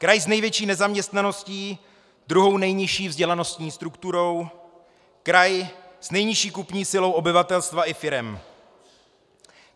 Kraj s největší nezaměstnaností, druhou nejnižší vzdělanostní strukturou, kraj s nejnižší kupní silou obyvatelstva i firem.